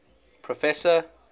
professor